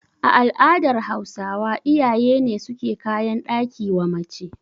A al'adar Hausawa iyaye ne suke kayan ɗaki wa mace